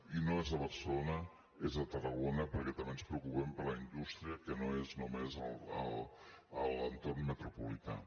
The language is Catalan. i no és a barcelona és a tarragona perquè també ens preocupem per la indústria que no és només a l’entorn metropolità